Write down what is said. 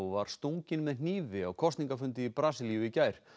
var stunginn með hnífi á kosningafundi í Brasilíu í gær